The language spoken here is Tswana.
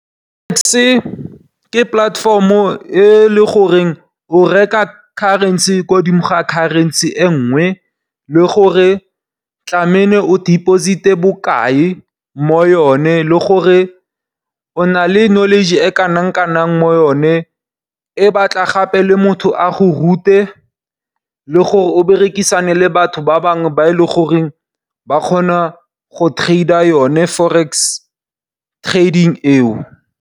Forex ke platform e leng gore o reka currency ko godimo ga currency e nngwe. Le gore tlameile o diposite bokae mo yone le gore o na le knowledge e kana kang mo yone. E batla gape le motho a go rute, le gore o berekisane le batho ba bangwe ba e leng gore ba kgona go trader yone Forex trading eo.